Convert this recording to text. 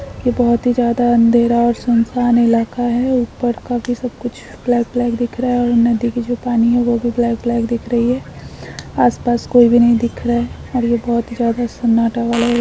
ये बहुत ही ज्यादा अंधेरा और सुनसान इलाका हैं ऊपर का सब कुछ ब्लैक-ब्लैक दिख रहा हैं और नदी का जो पानी हैं वो भी ब्लैक-ब्लैक दिख रहा हैं आस पास कोई भी नहीं दिख रहा हैं और ये बहुत ही ज्यादा सन्नाटा वाला एरिया हैं।